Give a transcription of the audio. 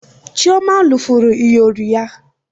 Chioma lufuru iyori ya